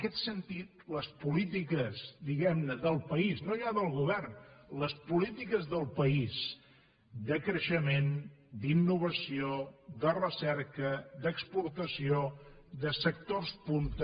aquest sentit les polítiques diguem ne del país no ja del govern les polítiques del país de creixement d’innovació de recerca d’exportació de sectors punta